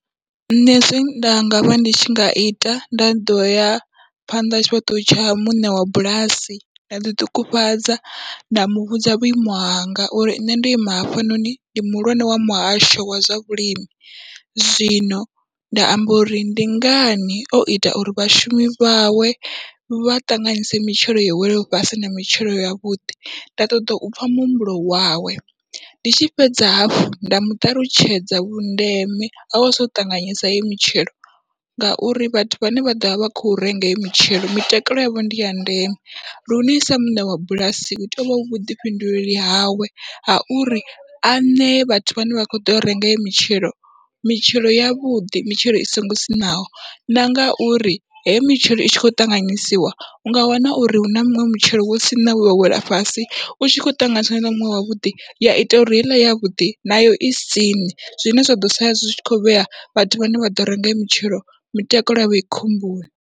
Nṋe zwine nda ngavha ndi tshi nga ita nda ḓoya phanḓa ha tshifhaṱuwo tsha muṋe wa bulasi, nda ḓiṱungufhadza nda muvhudza vhuimo hanga uri nṋe ndo ima hafhanoni ndi muhulwane wa muhasho wa zwa vhulimi, zwino nda amba uri ndi ngani oita uri vhashumi vhawe vha ṱanganyise mitshelo yo wela fhasi na mitshelo yavhuḓi, nda ṱoḓa upfha muhumbulo wawe ndi tshi fhedza hafhu nda muṱalutshedza vhundeme hau sa ṱanganyisa heyi mitshelo. Ngauri vhathu vhane vha ḓovha vha kho renga heyo mitshelo mitakalo yavho ndi ya ndeme lune sa muṋe wa bulasi hu tea uvha hu vhuḓifhinduleli hawe ha uri a ṋee vhathu vhane vha kho ḓo renga heyo mitshelo mitshelo yavhuḓi mitshelo i songo siṋaho, na ngauri hei mitshelo i tshi kho ṱanganyisiwa unga wana uri huna muṅwe mitshelo wa tsini wewa wela fhasi, utshi kho ṱanganyisiwa na muṅwe wavhuḓi ya ita uri heiḽa yavhuḓi nayo i siṋe zwine zwa ḓo sala zwi kho vhea vhathu vhane vha ḓo renga heyi mitshelo mitakalo yavho i khomboni.